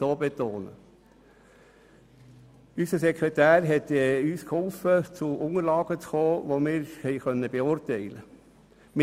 Unser Sekretär hat uns zu Unterlagen verholfen, die wir beurteilen konnten.